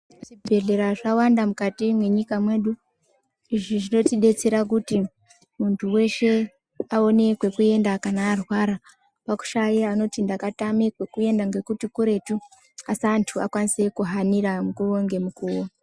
Zvibhedhlera zvawanda mukati menyika mwedu, izvi zvinotidetsera kuti muntu weshe aone kwekuenda kana arwara pashaye anoti ndakatama kwekuenda nekuti kuretu asi antu ahanire mukowo ngemukowo.